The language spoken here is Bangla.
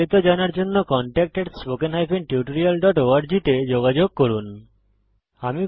আরো বিস্তারিত জানার জন্য contactspoken tutorialorg তে যোগযোগ করুন